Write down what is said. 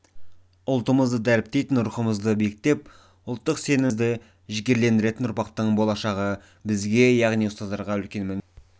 ұлтымызды дәріптейтін рухымызды биіктетіп ұлттық сенімімізді жігерлендіретін ұрпақтың болашағы бізге яғни ұстаздарға үлкен міндет